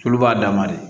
Tulu b'a dama de